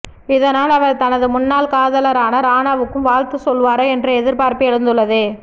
இதனால் அவர் தனது முன்னாள் காதலரான ராணாவுக்கும் வாழ்த்து சொல்வாரா என்ற எதிர்பார்ப்பு எழுந்துள்ளது